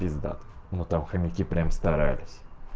пиздато ну там хомяки прямо старались